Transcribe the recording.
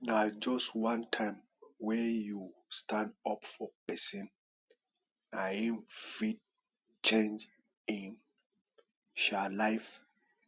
na just one time wey you stand up for pesin na em fit change em um life